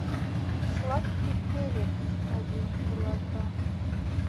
сладкий перец один килограмм